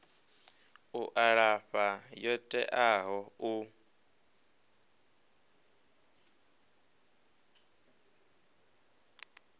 u alafha yo teaho u